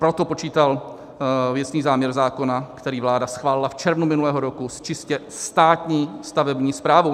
Proto počítal věcný záměr zákona, který vláda schválila v červnu minulého roku, s čistě státní stavební správou.